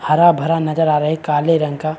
हरा-भरा नज़र आ रहा है काले रंग का--